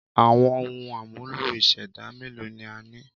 Àwọn ohun àmúlò ìṣẹ̀dá mélòó ni a ní?